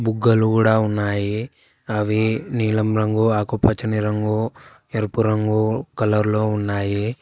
బుగ్గలు గూడా ఉన్నాయి అవి నీలం రంగు ఆకుపచ్చని రంగు ఎరుపు రంగు కలర్ లో ఉన్నాయి.